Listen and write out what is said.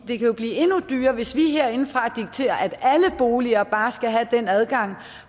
det kan jo blive endnu dyrere hvis vi herindefra dikterer at alle boliger bare skal have den adgang